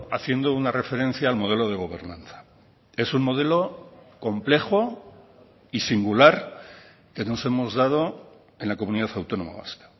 haciendo una referencia al modelo de gobernanza es un modelo complejo y singular que nos hemos dado en la comunidad autónoma vasca